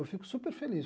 Eu fico super feliz.